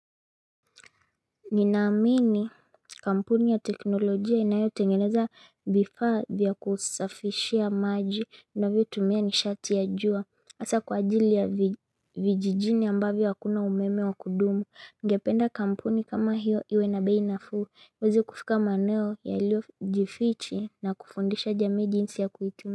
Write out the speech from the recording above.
Ninaamini kampuni ya teknolojia inayo tengeneza vifaa vya kusafishia maji inavyo tumia nishati ya jua Asa kwa ajili ya vijijini ambavyo hakuna umeme wa kudumu Nigependa kampuni kama hiyo iwe na bei nafuu iwewezi kufika maeneo ya ilio jifiche na kufundisha jamii jinsi ya kuitumia.